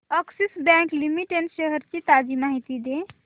Axis bank limited shares ची ताजी माहिती दे